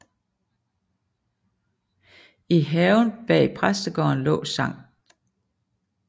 I haven bag præstegården lå Skt